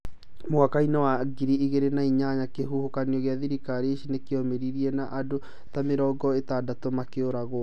Mwaka-inĩ wa ngiri igĩrĩ na inyanya, kĩhuhũkanio gĩa tharika ici nĩkĩaumĩrire na andũ ta mĩrongo ĩtandatũ makĩũragwo.